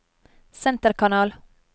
senterkanal